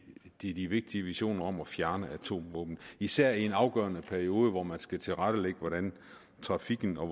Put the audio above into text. i de vigtige visioner om at fjerne atomvåben især i en afgørende periode hvor man skal tilrettelægge hvordan trafikken og